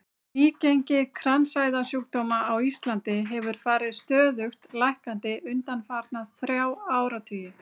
Nýgengi kransæðasjúkdóma á Íslandi hefur farið stöðugt lækkandi undanfarna þrjá áratugi.